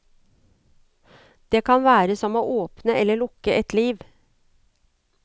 Det kan være som å åpne eller lukke et liv.